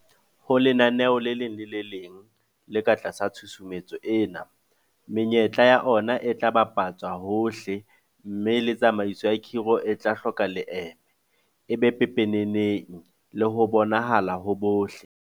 Ho lenaneo le leng le le leng le ka tlasa tshusumetso ena, menyetla ya ona e tla bapa tswa hohle mme le tsamaiso ya khiro e tla hloka leeme, e be pepeneneng le ho bonahala ho bohle.